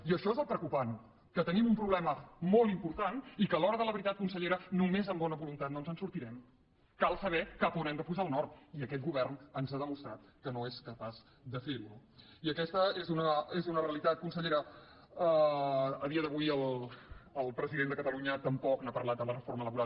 i això és el preocupant que tenim un problema molt important i que a l’hora de la veritat consellera només amb bona voluntat no ens en sortirem cal saber cap a on hem de posar el nord i aquest govern ens ha demostrat que no és capaç de fer ho no i aquesta és una realitat consellera a dia d’avui el president de catalunya tampoc ha parlat de la reforma laboral